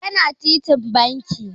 Yana titin banki.